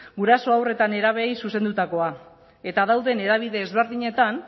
guraso haur eta nerabeei zuzendutakoa eta dauden hedabide ezberdinetan